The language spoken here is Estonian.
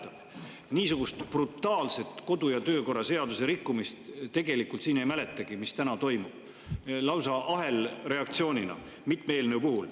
Tegelikult ei mäletagi siin niisugust brutaalset kodu‑ ja töökorra seaduse rikkumist, nagu täna toimub lausa ahelreaktsioonina mitme eelnõu puhul.